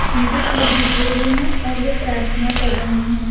उनके सिर झुके हुए हैं और वे प्रार्थना कर रहे हैं।